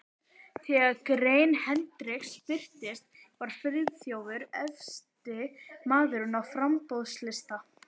Þegar grein Hendriks birtist, var Friðþjófur efsti maður á framboðslista